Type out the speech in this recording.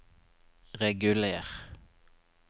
reguler